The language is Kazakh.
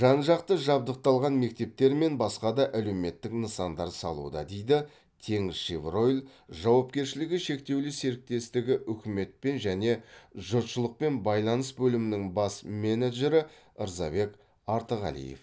жан жақты жабдықталған мектептер мен басқа да әлеуметтік нысандар салуда дейді теңізшевройл жауапкершілігі шектеулі серіктестігі үкіметпен және жұртшылықпен байланыс бөлімінің бас менеджері рзабек артығалиев